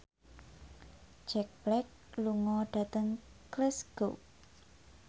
Jack Black lunga dhateng Glasgow